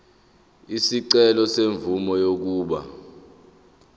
isicelo semvume yokuba